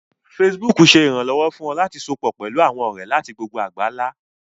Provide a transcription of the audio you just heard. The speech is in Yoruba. Facebook ṣé ìrànlọ́wọ́ fún ọ láti sopọ̀ pẹlú àwọn ọ̀rẹ́ láti gbogbo àgbálá